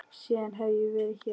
Síðan hef ég verið hér.